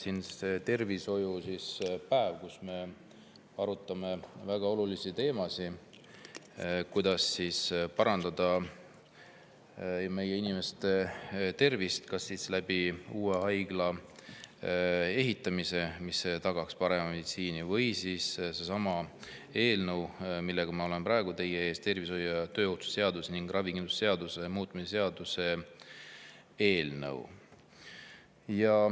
Täna on meil tervishoiupäev, kus me arutame väga olulisi teemasid: kuidas parandada meie inimeste tervist kas uue haigla ehitamise kaudu, mis tagaks parema meditsiini, või siis sellesama eelnõu abil, millega ma olen praegu teie ees – töötervishoiu ja tööohutuse seaduse ning ravikindlustuse seaduse muutmise seaduse eelnõu.